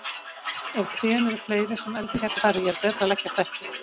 En ef trén eru fleiri sem elding gæti farið í er betra að leggjast ekki.